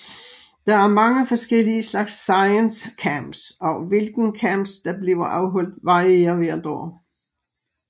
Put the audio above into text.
Der er mange forskellige slags ScienceCamps og hvilken camps der bliver afholdt varierer hvert år